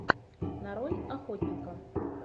нарой охотника